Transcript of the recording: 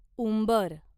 उंबर